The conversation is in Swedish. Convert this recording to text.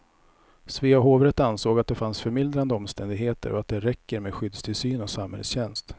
Svea hovrätt ansåg att det fanns förmildrande omständigheter och att det räcker med skyddstillsyn och samhällstjänst.